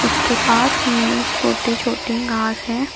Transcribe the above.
इसके पास में छोटे छोटे घास है।